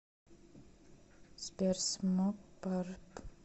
сбер смокпарп